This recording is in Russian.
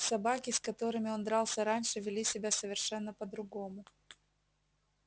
собаки с которыми он дрался раньше вели себя совершенно по другому